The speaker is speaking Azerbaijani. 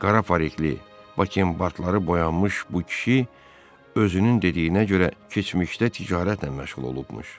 Qara farikli, Bakenbartları boyanmış bu kişi özünün dediyinə görə keçmişdə ticarətlə məşğul olubmuş.